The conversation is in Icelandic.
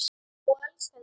Og elskaði heitt.